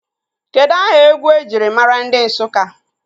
Kedụ aha egwu ejiri maara ndị Nsụka?